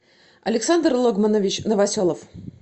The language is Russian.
александр логманович новоселов